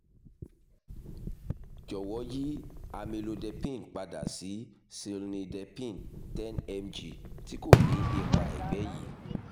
jọwọ yi amlodepine pada si cilnidepine ten mg ti ko ni ipa ẹgbẹ yii